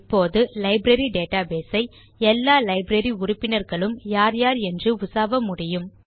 இப்போது library database ஐ எல்லா லைப்ரரி உறுப்பினர்களும் யார் யார் என்று உசாவ முடியும்